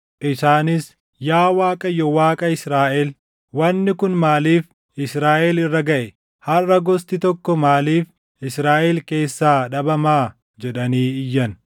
Isaanis, “Yaa Waaqayyo, Waaqa Israaʼel, wanni kun maaliif Israaʼel irra gaʼe? Harʼa gosti tokko maaliif Israaʼel keessaa dhabamaa?” jedhanii iyyan.